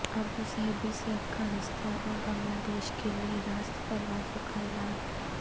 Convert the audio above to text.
Abu Dhabi سے افغانستان اور Bangladesh کیلئے راست پروازوں کا اعلان